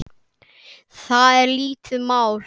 Það er lítið mál.